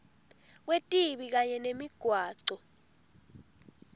kwetibi kanye nemigwaco